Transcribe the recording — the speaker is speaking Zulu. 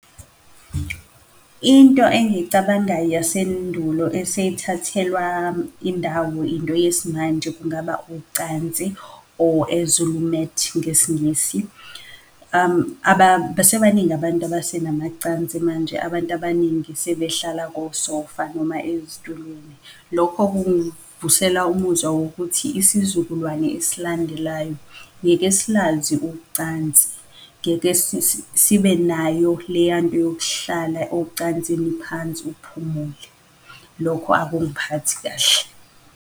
Into engiyicabangayo yasendulo eseyithathelwa indawo into yesimanje, kungaba ucansi or a Zulu mat, ngesiNgisi. Abasebaningi abantu abasenamacansi manje abantu abaningi sebehlala ko-sofa noma ezitulweni. Lokho kungivusela umuzwa wokuthi isizukulwane esilandelayo ngeke silazi ucansi, ngeke sibe nayo leyanto yokuhlala ocansini phansi uphumule. Lokho akungiphathi kahle.